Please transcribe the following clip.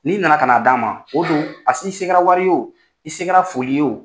N'i na na ka na d'an ma o do a sin i se kɛra wari ye o i se kɛra foli ye o.